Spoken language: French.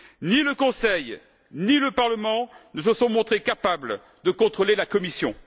Ni le Conseil, ni le Parlement ne se sont montrés capables de contrôler la Commission.